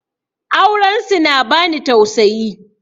Auren su na bani tausayi